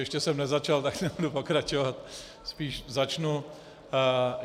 Ještě jsem nezačal, tak nebudu pokračovat , spíš začnu.